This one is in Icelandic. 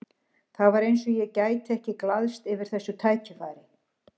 Það var eins og ég gæti ekki glaðst yfir þessu tækifæri.